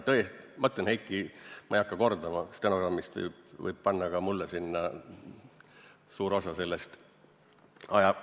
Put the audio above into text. Heiki, ma ei hakka sind kordama, stenogrammis võiks suure osa sellest jutust ka minu nime all kirja panna.